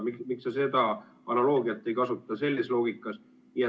Miks sa seda analoogiat ei kasuta?